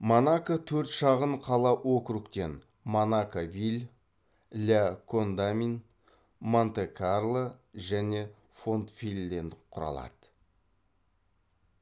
монако төрт шағын қала округтерден монако виль ля кондамин монте карло және фонтвелльден құралады